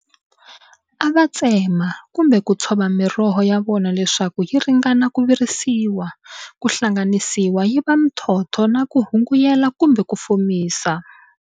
Ava tsema, kumbe kutshova miroho yavona leswaku yiringana ku virisiwa, ku hlanganisiwa yiva mithtotho na ku hunguela kumbe ku fomisa.